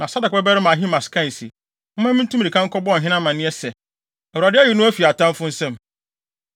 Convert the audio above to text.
Na Sadok babarima Ahimaas kae se, “Momma mintu mmirika nkɔbɔ ɔhene amanneɛ sɛ, Awurade ayi no afi atamfo nsam.”